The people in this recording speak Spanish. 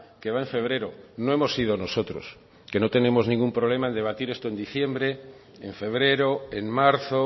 que va en febrero no hemos sido nosotros que no tenemos ningún problema en debatir esto en diciembre en febrero en marzo